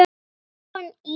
Jóhann í